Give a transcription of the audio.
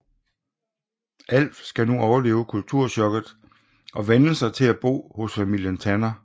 Alf skal nu overleve kulturchokket og vænne sig til at bo hos familien Tanner